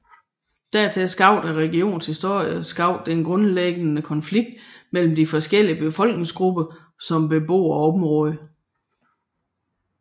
Dertil skabte regionens historie skabte en grundlæggende konflikt mellem de forskellige befolkningsgrupper som bebor området